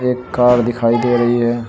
एक कार दिखाई दे रही है।